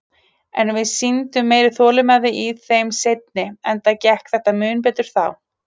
En við sýndum meiri þolinmæði í þeim seinni, enda gekk þetta mun betur þá.